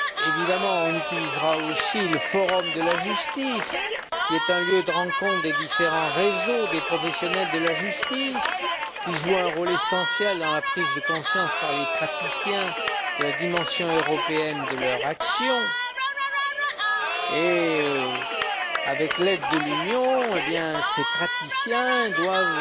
Évidemment, on utilisera aussi le forum de la justice, qui est un lieu de rencontre des différents réseaux de professionnels de la justice, qui joue un rôle essentiel dans la prise de conscience, par les praticiens, de la dimension européenne de leur action et, avec l'aide de l'Union, eh bien, ces praticiens doivent